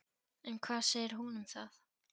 En hvað segir hún um það?